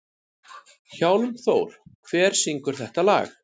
Hjálmþór, hver syngur þetta lag?